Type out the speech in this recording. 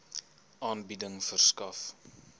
aanbieding verskaf